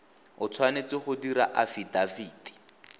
o tshwanetse go dira afidafiti